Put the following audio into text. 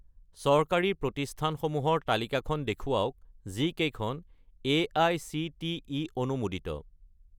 চৰকাৰী প্ৰতিষ্ঠানসমূহৰ তালিকাখন দেখুৱাওক যিকেইখন এআইচিটিই অনুমোদিত